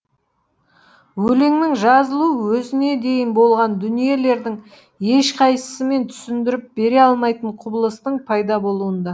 өлеңнің жазылуы өзіне дейін болған дүниелердің ешқайсысымен түсіндіріп бере алмайтын құбылыстың пайда болуында